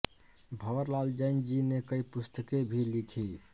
भवरलाल जैन जी ने कईं पुस्तके भी लिखी